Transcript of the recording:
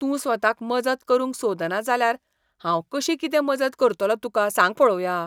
तूं स्वताक मजत करूंक सोदना जाल्यार हांव कशी कितें मजत करतलों तुका, सांग पळोवया?